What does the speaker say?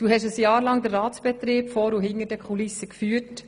Du hast ein Jahr lang den Ratsbetrieb vor und hinter den Kulissen geführt.